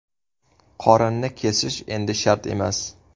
Qorinni kesish endi shart emas!